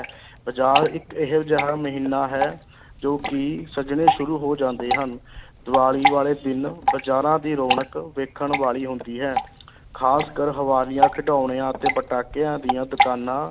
ਬਜ਼ਾਰ ਇੱਕ ਇਹੋ ਜਿਹਾ ਮਹੀਨਾ ਹੈ ਜੋ ਕਿ ਸਜਣੇ ਸ਼ੁਰੂ ਹੋ ਜਾਂਦੇ ਹਨ ਦੀਵਾਲੀ ਵਾਲੇ ਦਿਨ ਬਜ਼ਾਰਾਂ ਦੀ ਰੌਣਕ ਵੇਖਣ ਵਾਲੀ ਹੁੰਦੀ ਹੈ ਖ਼ਾਸ ਕਰ ਹਵਾਲੀਆ, ਖਿਡੌਣਿਆਂ ਅਤੇ ਪਟਾਕਿਆਂ ਦੀਆਂ ਦੁਕਾਨਾਂ